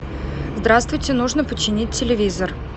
здравствуйте нужно починить телевизор